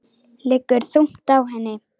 Liggur þungt á henni.